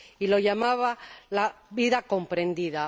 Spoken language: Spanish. lo llamaba la vida comprendida.